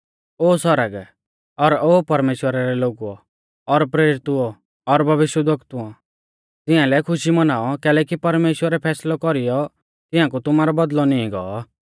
ओ सौरग और ओ परमेश्‍वरा रै लोगुऔ और प्रेरितुओ और भविष्यवक्तुओ तिंआलै खुशी मौनाऔ कैलैकि परमेश्‍वरै फैसलौ कौरीयौ तिंआकु तुमारौ बौदल़ौ नींई गौ